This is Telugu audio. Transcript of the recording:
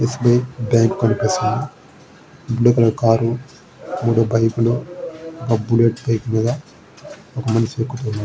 స్బి ఐ బ్యాంకు కనిపిస్తున్నది బ్లూ కలర్ కార్ మూడు బైకులు ఒక బుల్లెట్ బైక్ మీద ఒక మనిషి ఆకుతున్నాడు.